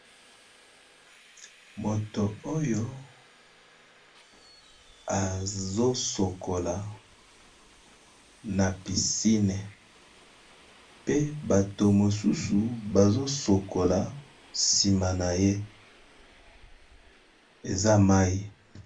Moto oyo azosokola na pisine pe bato mosusu bazosokola nsima na ye eza mai.